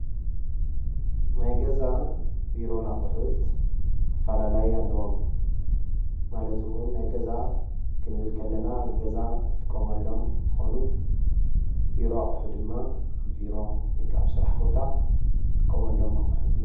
ናይ ገዛን ቢሮን ኣቑሑት ኣፈላላይ ኣለዎም። ማለት እዉን ናይ ገዛ ክንብል ከለና ኣብ ገዛ እንጥቀመሎም እንትኾኑ ቢሮ ኣቑሑ ድማ ኣብ ቢሮ ወይ ከዓ ኣብ ስራሕ ቦታ ንጥቀመሎም ኣቑሑት እዮም።